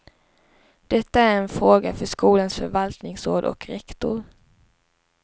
Detta är en fråga för skolans förvaltningsråd och rektor.